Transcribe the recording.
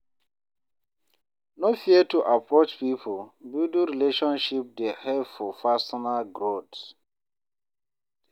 No fear to approach people; building relationships dey help for personal growth.